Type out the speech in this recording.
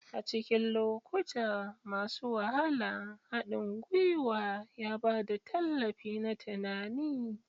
A cikin lokuta masu wahala, haɗin gwiwa ya ba da tallafi na tunani.